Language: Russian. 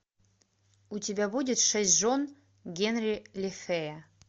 у тебя будет шесть жен генри лефэя